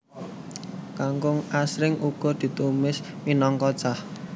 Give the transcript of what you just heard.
Kangkung asring uga ditumis minangka cah